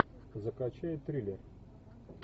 закачай триллер